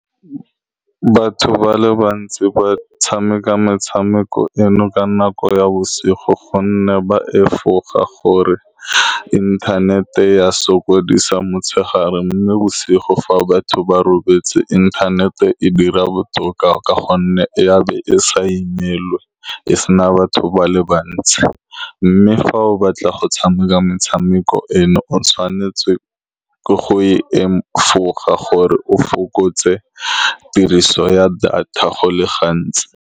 Batho ba le bantsi ba tshameka metshameko eno ka nako ya bosigo ka gonne ba efoga gore inthanete ya sokodisa motshegare, mme bosigo fa batho ba robetse inthanete e dira botoka ka gonne ya be e sa imelwe, e se na batho ba le bantsi. Mme fa o batla go tshameka metshameko eno o tshwanetse ke go e , efoga gore o fokotse tiriso ya data go le gantsi.